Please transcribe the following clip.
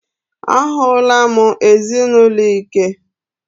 A hụla m ezinụlọ ike.